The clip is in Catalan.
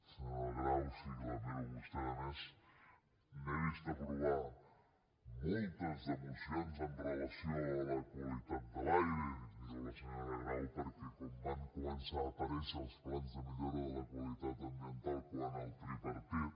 senyora grau sí que la miro a vostè a més n’he vist aprovar moltes de mocions amb relació a la qualitat de l’aire i dic miro a la senyora grau perquè com van començar a aparèixer els plans de millora de la qualitat ambiental amb el tripartit